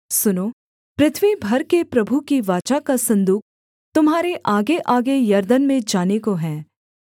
सुनो पृथ्वी भर के प्रभु की वाचा का सन्दूक तुम्हारे आगेआगे यरदन में जाने को है